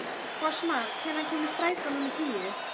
Fossmar, hvenær kemur strætó númer tíu?